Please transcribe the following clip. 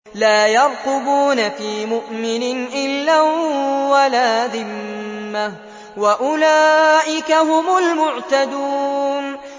لَا يَرْقُبُونَ فِي مُؤْمِنٍ إِلًّا وَلَا ذِمَّةً ۚ وَأُولَٰئِكَ هُمُ الْمُعْتَدُونَ